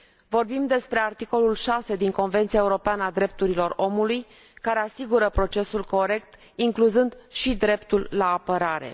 Vorbim despre articolul 6 din Convenția europeană a drepturilor omului, care asigură un proces corect, incluzând și dreptul la apărare.